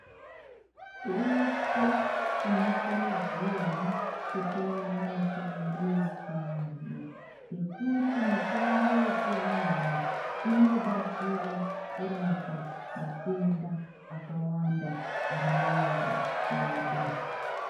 Tose tinokurudzirwa kutora mitombo yechiantu ngekuti mitombo yechíantu inobatsira kurapa matenda akawanda ari munyama mwedu.